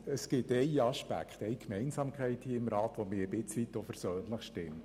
Es gibt eine Gemeinsamkeit, die mich ein Stück weit versöhnlich stimmt.